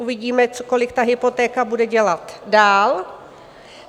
Uvidíme, kolik ta hypotéka bude dělat dál.